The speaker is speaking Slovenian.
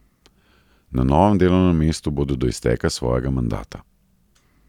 Na novem delovnem mestu bodo do izteka svojega mandata.